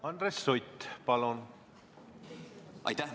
Aitäh!